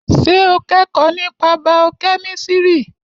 Ṣé o kẹ́kọ̀ọ́ nípa bàọ́ kẹ́mísìrì?